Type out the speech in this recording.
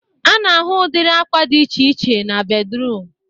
A na-ahụ udiri akwa dị iche iche na bedruum